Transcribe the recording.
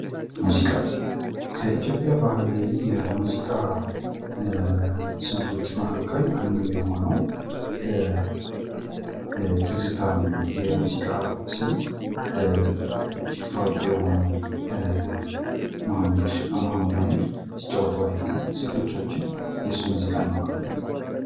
ሙዚቃ ከኢትዮጵያ ባህላዊ የሙዚቃ ስልቶች መካከል አንዱ የሆነው የትዝታ የሙዚቃ ስልት ታዋቂ የሆነው መሀሙድ አህመድ ሲጫወተው አይተናል። ስንቶቻችን የሱን ሙዚቃ እናውቃለን።